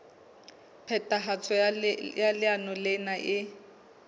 phethahatso ya leano lena e